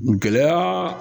Gɛlɛya